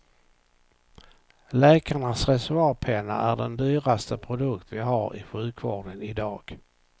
Läkarnas reservoarpenna är den dyraste produkt vi har i sjukvården i dag.